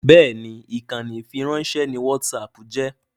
Bẹ́ẹ̀ni ìkànnì ìfiránṣẹ́ ni whatsapp jẹ́